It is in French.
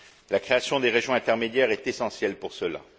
La création des régions intermédiaires est essentielle pour cela.